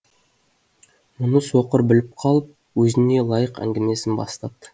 мұны соқыр біліп қалып өзіне лайық әңгімесін бастапты